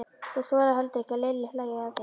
Þú þolir heldur ekki að Lilli hlæi að þér.